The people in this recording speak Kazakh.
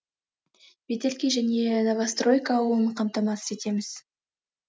ветелки және новостройка ауылын қамтамасыз етеміз